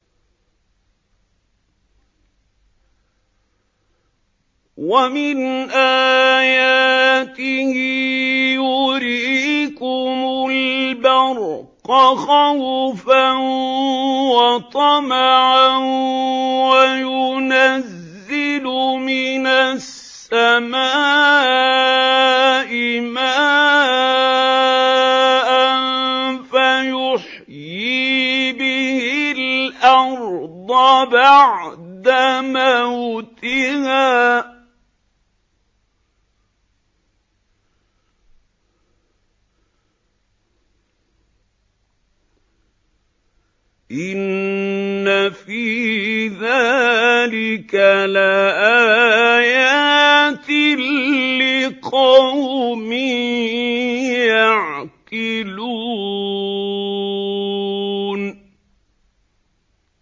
وَمِنْ آيَاتِهِ يُرِيكُمُ الْبَرْقَ خَوْفًا وَطَمَعًا وَيُنَزِّلُ مِنَ السَّمَاءِ مَاءً فَيُحْيِي بِهِ الْأَرْضَ بَعْدَ مَوْتِهَا ۚ إِنَّ فِي ذَٰلِكَ لَآيَاتٍ لِّقَوْمٍ يَعْقِلُونَ